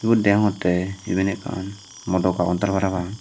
ubot degongtte iben ekkan modo kounter parapang.